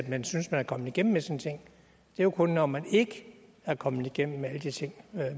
man synes man er kommet igennem med sine ting det er jo kun når man ikke er kommet igennem med alle de ting